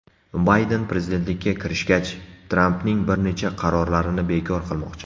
Bayden prezidentlikka kirishgach, Trampning bir necha qarorlarini bekor qilmoqchi.